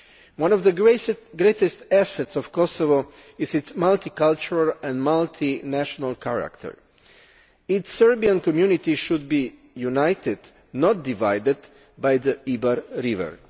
One of the greatest assets of Kosovo is its multicultural and multinational character. Its Serbian community should be united, not divided by the Iber River.